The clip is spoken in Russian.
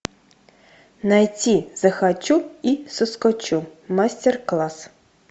найти захочу и соскочу мастер класс